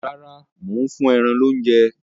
Rárá, mò ń fún ẹran loúnjẹ